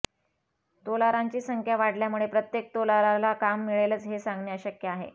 तोलारांची संख्या वाढल्यामुळे प्रत्येक तोलाराला काम मिळेलच हे सांगणे अशक्य आहे